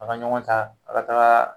A ka ɲɔgɔn ta a ka taga